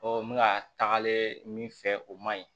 n bɛ ka tagalen min fɛ o man ɲi